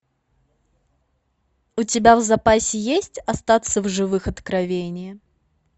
у тебя в запасе есть остаться в живых откровение